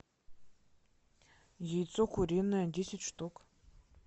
яйцо куриное десять штук